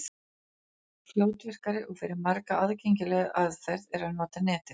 Fljótvirkari og fyrir marga aðgengilegri aðferð er að nota Netið.